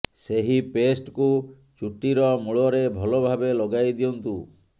ସେହି ପେଷ୍ଟକୁ ଚୁଟିର ମୂଳରେ ଭଲ ଭାବେ ଲଗାଇ ଦିଅନ୍ତୁ